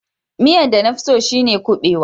Miyan da na fi tso shine kubewa.